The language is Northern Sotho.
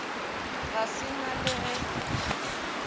ga se na le ge